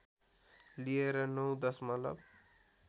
लिएर ९ दशमलव